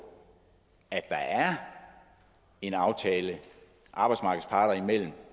at der er en aftale arbejdsmarkedets parter imellem